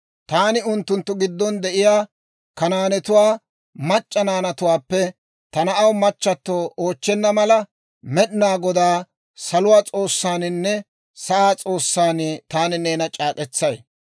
taani unttunttu giddon de'iyaa Kanaanetuwaa mac'c'a naanatuwaappe ta na'aw machchatto oochchenna mala, Med'inaa Godaan, saluwaa S'oossaaninne sa'aa S'oossan taani neena c'aak'k'etsay;